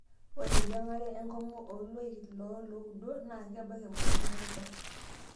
Ore eyiang'are enkung'u oloik loo looudo naa kebak emoyian oorubat.